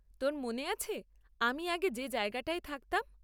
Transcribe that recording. তোর মনে আছে আমি আগে যে জায়গাটায় থাকতাম?